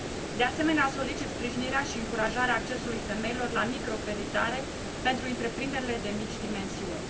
De asemenea, solicit sprijinirea și încurajarea accesului femeilor la microcreditarea pentru întreprinderile de mici dimensiuni.